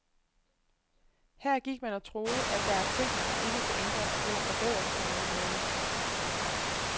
Her gik man og troede, at der er ting, som ikke kan ændres eller forbedres på nogen måde.